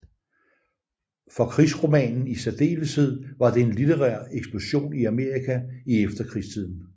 For krigsromanen i særdeleshed var der en litterær eksplosion i Amerika i efterkrigstiden